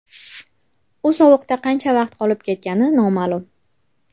U sovuqda qancha vaqt qolib ketgani noma’lum.